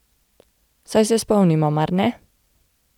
Saj se spomnimo, mar ne?